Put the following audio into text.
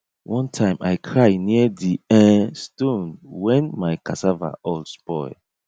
one time i cry near di um stone when my cassava all spoil